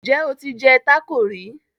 Njé o tí jé taco rí?